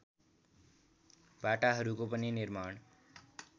बाटाहरूको पनि निर्माण